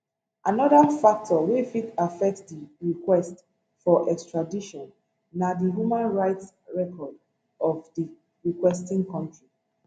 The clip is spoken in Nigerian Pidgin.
anoda factor wey fit affect di request for extradition na di human rights records of di requesting kontri